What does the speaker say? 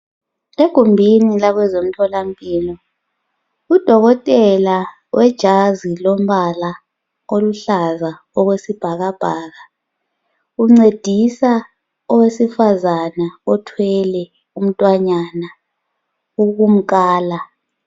Egumbini labezemtholampilo , udokotela olejazi elilombala oluhlaza okwesibhakabhaka uncedisa owesifazana othwele umntwanyana .Ukumkhala.